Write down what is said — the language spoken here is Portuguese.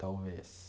Talvez.